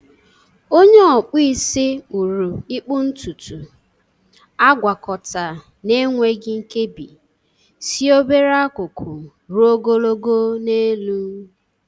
Onye okpụ isi kpuru ịkpụ ntutu, agwakọta n'enweghị nkebi si obere akụkụ ruo ogologo n'elu.